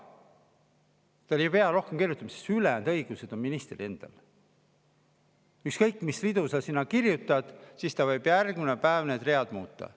Nad ei pea rohkem kirjutama, sest ülejäänud õigused on ministril endal: ükskõik mis ridu sa sinna kirjutad, ta võib järgmine päev need muuta.